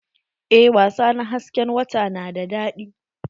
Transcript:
Eh wasa na hasken wata na da daɗi.